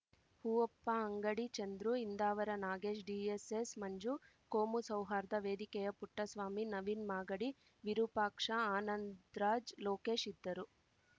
ಹೂವಪ್ಪ ಅಂಗಡಿ ಚಂದ್ರು ಇಂದಾವರ ನಾಗೇಶ್‌ ಡಿಎಸ್‌ಎಸ್‌ಮಂಜು ಕೋಮು ಸೌಹಾರ್ಧ ವೇದಿಕೆಯ ಪುಟ್ಟಸ್ವಾಮಿ ನವೀನ್‌ ಮಾಗಡಿ ವಿರೂಪಾಕ್ಷ ಆನಂದ್‌ ರಾಜ್‌ ಲೋಕೇಶ್‌ ಇದ್ದರು